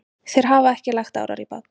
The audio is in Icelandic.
Þeir hafa ekki lagt árar í bát.